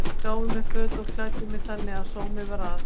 Þær gáfu mér föt og klæddu mig þannig að sómi var að.